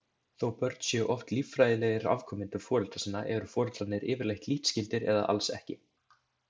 Þó börn séu oft líffræðilegir afkomendur foreldra sinna eru foreldrarnir yfirleitt lítt skyldir eða alls ekki.